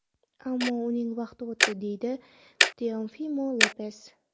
Ammo uning vaqti o‘tdi”, deydi Teofimo Lopes.